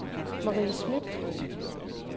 Marie Smidt